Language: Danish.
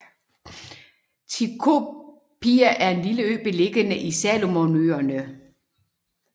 Tikopia er en lille ø beliggende i Salomonøerne